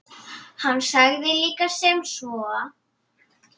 Hann sagði líka sem svo